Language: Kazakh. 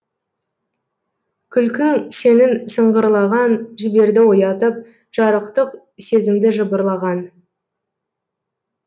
күлкің сенің сыңғырлаған жіберді оятып жарықтық сезімді жыбырлаған